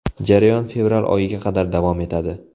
Jarayon fevral oyiga qadar davom etadi.